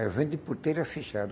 Eu venho de porteira fechada.